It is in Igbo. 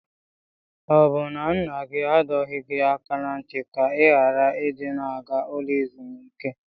Ọ bụ na nna gị adọghị gị aka na ntị ka ị ghara ị dị na-aga ụlọ ezumike?